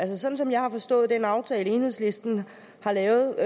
sådan som jeg har forstået den aftale enhedslisten har lavet